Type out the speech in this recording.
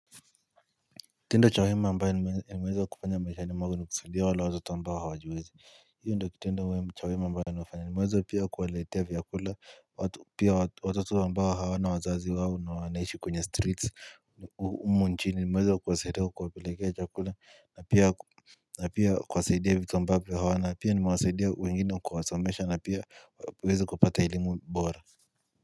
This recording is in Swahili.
Tendo cha wema ambaye nimweze wa kufanya maishani mwangu ni kusaindia wale watoto ambao hawa jiwezi hiyo ndo kitendo uwe cha wema ambaye ni huwafanya ni mweze pia kuwaletea viyakula watu pia watoto ambao hawana wazazi wao na wanaishi kwenye streets humunchini ni meweze wa kuwasaidia kuwa pelekea chakula na pia kuwasaidia vitu ambavyo hawana pia nimewasaidia wengi na kuwasomesha na pia weze kupata elimu bora.